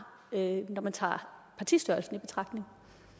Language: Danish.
når man tager partistørrelsen i betragtning